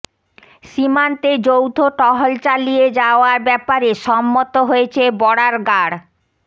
সীমান্তে যৌথ টহল চালিয়ে যাওয়ার ব্যাপারে সম্মত হয়েছে বর্ডার গার্ড